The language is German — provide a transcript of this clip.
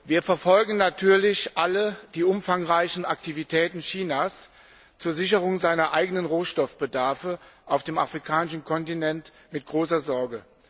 Wir verfolgen natürlich alle die umfangreichen Aktivitäten Chinas zur Sicherung seines eigenen Rohstoffbedarfs auf dem afrikanischen Kontinent mit großer Sorge.